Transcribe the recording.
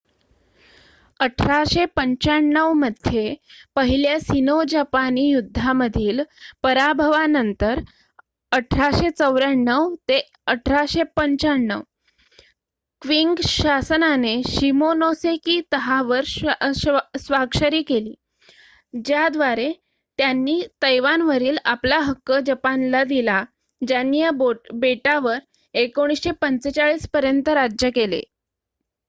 1895 मध्ये पहिल्या सिनो-जपानी युद्धामधील पराभवानंतर1894-1895 क्विंग शासनाने शिमोनोसेकी तहावर स्वाक्षरी केली ज्याद्वारे त्यांनी तैवानवरील आपला हक्क जपानला दिला ज्यांनी या बेटावर 1945 पर्यंत राज्य केले